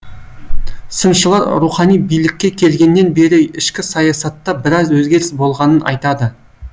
сыншылар рухани билікке келгеннен бері ішкі саясатта біраз өзгеріс болғанын айтады